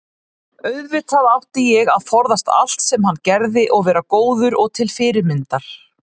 auðvitað átti ég að forðast allt sem hann gerði og vera góður og til fyrirmyndar.